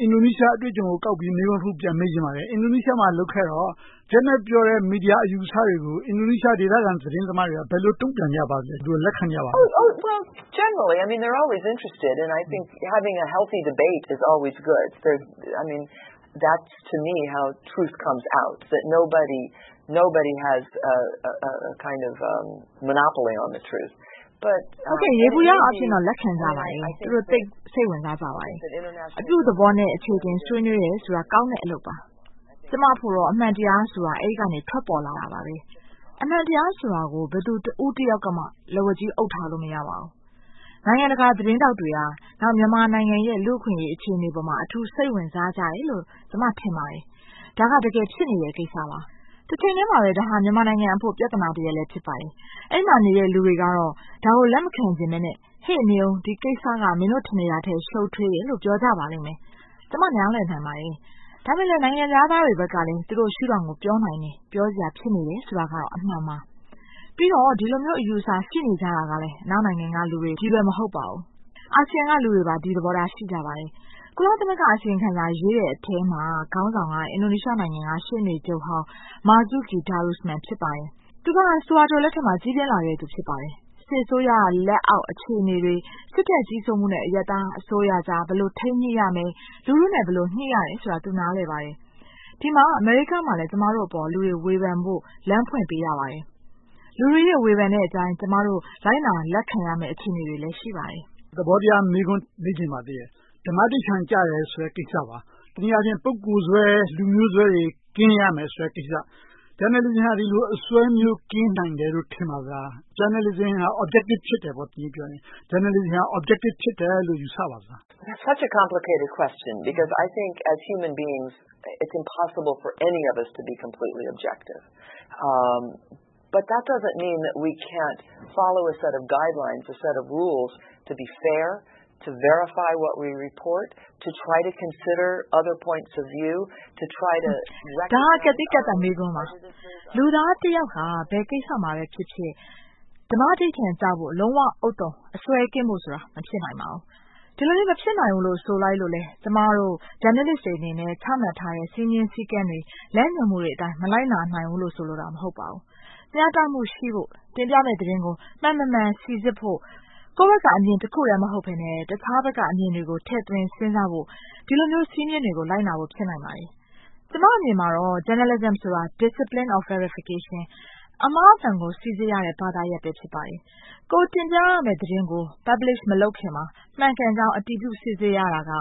အင်ဒိုနီးရှားအတွေ့အကြုံကို ကောက်ပြီးတော့ မေးခွန်းတခု မေးချင်ပါတယ်။ အင်ဒိုနီးရှားမှာ လုပ်ခဲ့တော့ Janet ပြောတဲ့ မီဒီယာအယူအဆတွေကို အင်ဒိုနီးရှား ဒေသခံသတင်းသမားတွေက ဘယ်လိုတုံ့ပြန်ကြပါလဲ။ သူတို့ လက်ခံကြပါလား။ Prof. Janet ။ ။ ယေဘုယျအားဖြင့်တော့ လက်ခံကြပါတယ်။ သူတို့ သိပ်စိတ်ဝင်စားကြပါတယ်။ အပြုသဘောနဲ့ အခြေအတင် ဆွေးနွေးကြတာ ကောင်းတဲ့အလုပ်ပါ။ ကျမ့အဖို့တော့ အမှန်တရားဆိုတာ အဲဒီက ထွက်ပေါ်လာတာပါ။ အမှန်တရားဆိုတာကို ဘယ်သူတဦးတယောက်ကမှ လက်ဝါးကြီး အုပ်ထားလို့ မရပါဘူး။ နိုင်ငံတကာ သတင်းထောက်တွေဟာ မြန်မာနိုင်ငံရဲ့ လူ့အခွင့်အရေး အခြေအနေပေါ်မှာ အထူးစိတ်ဝင်စားကြတယ်လို့ ကျမ ထင်ပါတယ်။ ဒါက တကယ်ဖြစ်နေတဲ့ ကိစ္စပါ။ တချိန်တည်းမှာပဲ ဒါဟာ မြန်မာနိုင်ငံအတွက် ပြဿနာတရပ်လည်း ဖြစ်ပါတယ်။ အဲဒီမှာနေတဲ့ လူတွေကတော့ ဒါကို လက်မခံချင်ဘဲနဲ့… ဟေ့ နေအုံး ဒီကိစ္စက နင်တို့ ထင်နေတာထက် ရှုပ်ထွေတယ်လို့ ပြောကြပါလိမ့်မယ်။ ကျမ နားလည်နိုင်ပါတယ်။ ဒါပေမဲ့ နိုင်ငံခြားသားတွေဘက်ကလည်း သူတို့ ရှုထောင့်ကို ပြောနိုင်တယ်။ ပြောစရာ ဖြစ်နေတယ်ဆိုတာတော့ အမှန်ပါ။ ပြီးတော့ ဒီလိုမျိုး အယူအဆ ရှိနေကြတာကလည်း အနောက်နိုင်ငံကလူတွေကြီးပဲ မဟုတ်ပါဘူး။ အာဆီယံက လူတွေလည်း ဒီသဘောထား ရှိကြပါတယ်။ ကုလသမဂ္ဂ အစီရင်ခံစာ ရေးတဲ့အထဲမှာ ခေါင်းဆောင်က အင်ဒိုနီးရှားနိုင်ငံက ရှေ့နေချုပ်ဟောင်း မားဇုကီ ဒီရိုစမန် ဖြစ်ပါတယ်။ သူက ဆူဟာတို လက်ထက်မှာ ကြီးပြင်းလာသူ ဖြစ်ပါတယ်။ စစ်အစိုးရလက်အောက် အခြေအနေတွေ၊ စစ်တပ်ကြီးစိုးမှုနဲ့ အရပ်သားအစိုးရကြား ဘယ်လိုထိန်းညှိရမယ်။ လူထုနဲ့ ဘယ်လိုညှိရတယ်ဆိုတာကို သူ နားလည်ပါတယ်။ ဒီမှာ အမေရိကမှာလည်း ကျမတို့အပေါ် လူတွေ ဝေဖန်ဖို့ လမ်းဖွင့်ပေးရပါတယ်။ လူတွေရဲ့ ဝေဖန်တဲ့အတိုင်း ကျမတို့ လိုက်နာလက်ခံရမယ့် အခြေအနေတွေလည်း ရှိပါတယ်။ ဦးကျော်ဇံသာ ။ ။ သဘောတရားမေးခွန်း မေးချင်ပါသေးတယ်။ ဓမ္မဓိဌာန်ကျတယ်ဆိုတဲ့ ကိစ္စပါ။ တနည်းအားဖြင့် ပုဂ္ဂိုလ်စွဲ လူမျိုးစွဲတွေ ကင်းရမယ်ဆိုတဲ့ကိစ္စ။ Journalism က ဒီလိုအစွဲမျိုးတွေ ကင်းနိုင်တယ်လို့ ထင်ပါသလား။ Journalism က objective ဖြစ်တယ် တနည်းပြောရင်။ Journalism က objective ဖြစ်တယ်လို့ ယူဆပါသလား။ Prof. Janet ။ ။ ဒါက ကပ်သီးကပ်သတ် မေးခွန်းပါ။ လူသားတယောက်ဟာ ဘယ်ကိစ္စမှာပဲဖြစ်ဖြစ် ဓမ္မဓိဌာန်ကျဖို့ လုံးဝဥဿုံအစွဲကင်းဖို့ဆိုတာ မဖြစ်နိုင်ပါဘူး။ ဒီလိုမျိုး မဖြစ်နိုင်ဘူးလို့ ဆိုလိုက်လို့လဲ ကျမတို့ Journalist တွေအနေနဲ့ ချမှတ်ထားတဲ့ စည်းမျဉ်းစည်းကမ်းတွေ၊ လမ်းညွှန်မှုတွေအတိုင်း မလိုက်နာနိုင်ဘူးလို့ ဆိုလိုတာ မဟုတ်ပါဘူး။ မျှတမှုရှိဖို့ တင်ပြမယ့်သတင်းကို မှန်မမှန် စီစစ်ဖို့ ကိုယ့်ဘက်က အမြင်တခုတည်း မဟုတ်ဘဲနဲ့ တခြားဘက်ကအမြင်တွေကို ထည့်သွင်းစဉ်းစားဖို့ ဒီလိုမျိုး စည်းမျဉ်းတွေကို လိုက်နာဖို့ ဖြစ်နိုင်ပါတယ်။ ကျမအမြင်မှာတော့ Journalism ဆိုတာ Discipline of verification အမှားအမှန်ကို စီစစ်ရတဲ့ ဘာသာရပ်ပဲ ဖြစ်ပါတယ်။ ကိုယ်တင်ပြရမယ့် သတင်းကို Publish မလုပ်ခင်မှာ မှန်ကန်ကြောင်း အတည်ပြု စစ်ဆေးရတာက